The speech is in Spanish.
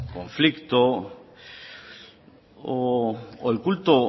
conflicto o el culto